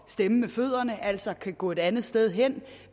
stemme med fødderne altså kan gå et andet sted hen